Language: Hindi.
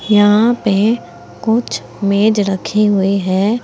यहां पे कुछ मेज रखी हुई है।